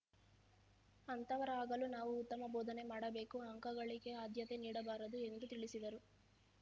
ಅಂಥವರಾಗಲು ನಾವು ಉತ್ತಮ ಬೋಧನೆ ಮಾಡಬೇಕು ಅಂಕಗಳಿಕಗೆ ಆದ್ಯತೆ ನೀಡಬಾರದು ಎಂದು ತಿಳಿಸಿದರು